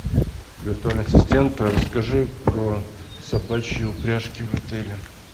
виртуальный ассистент расскажи про собачьи упряжки в отеле